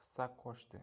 hissa qoʻshdi